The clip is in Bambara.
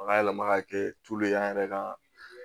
Ka yɛlɛma ka kɛ an yɛrɛ ka